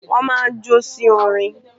Wọ́n máa ń jó sí orin.